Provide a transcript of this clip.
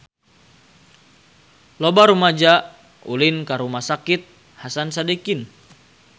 Loba rumaja ulin ka Rumah Sakit Hasan Sadikin